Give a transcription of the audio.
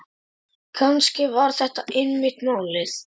Kannski var þetta einmitt málið.